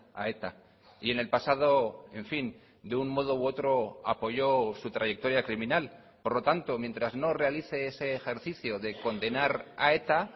a eta y en el pasado en fin de un modo u otro apoyó su trayectoria criminal por lo tanto mientras no realice ese ejercicio de condenar a eta